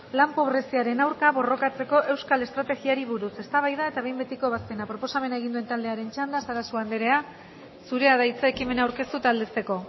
lan pobreziaren aurka borrokatzeko euskal estrategiari buruz eztabaida eta behin betiko ebazpena proposamena egin duen taldearen txanda sarasua andrea zurea da hitza ekimena aurkeztu eta aldezteko